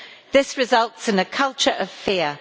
This results in a culture of fear.